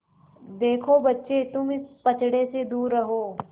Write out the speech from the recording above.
देखो बच्चे तुम इस पचड़े से दूर रहो